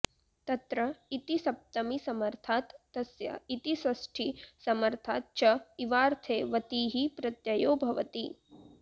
तत्र इति सप्तमीसमर्थात् तस्य इति षष्ठीसमर्थाच् च इवार्थे वतिः प्रत्ययो भवति